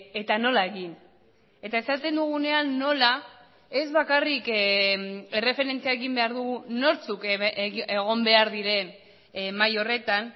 eta nola egin eta esaten dugunean nola ez bakarrik erreferentzia egin behar dugu nortzuk egon behar diren mahai horretan